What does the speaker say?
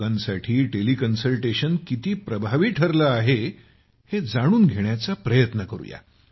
लोकांसाठी टेलिकन्सल्टेशन किती प्रभावी ठरले आहे हे जाणून घेण्याचा प्रयत्न करूया